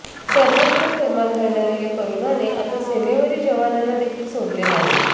सर्वत्र थैमान घालणाऱ्या या कोरोनाने आता सीमेवरील जवानांना देखील सोडले नाही